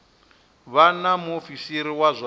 vha na muofisiri wa zwa